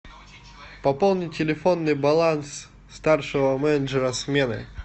пополни телефонный баланс старшего менеджера смены